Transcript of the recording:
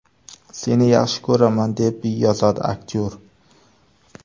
Seni yaxshi ko‘raman!”, deb yozadi aktyor.